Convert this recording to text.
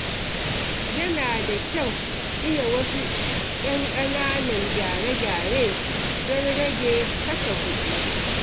Yana da kyau iya wasu 'yan ƙananan gyare-gyare domin rage kashe kuɗi.